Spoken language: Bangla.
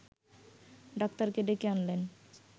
ডাক্তারকে ডেকে আনলেন